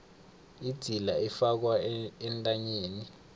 idzila ifakwa entanyeni